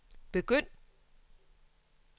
begynd